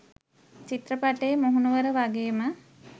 චිත්‍රපටයේ මුහුණුවර වගේම